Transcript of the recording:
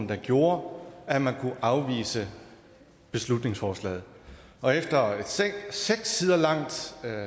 der gjorde at man kunne afvise beslutningsforslaget og efter et seks sider langt